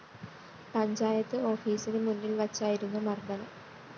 പഞ്ചായത്ത് ഓഫീസിന് മുന്നില്‍ വച്ചായിരുന്നു മര്‍ദ്ദനം